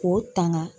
K'o tanga